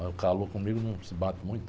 Mas o calor comigo não se bate muito.